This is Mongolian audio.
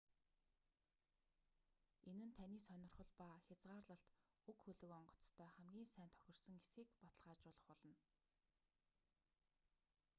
энэ нь таны сонирхол ба хязгаарлалт уг хөлөг онгоцтой хамгийн сайн тохирсон эсэхийг баталгаажуулах болно